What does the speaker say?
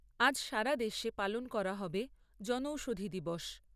আজ সারা দেশে পালন করা হবে জনৌষধি দিবস।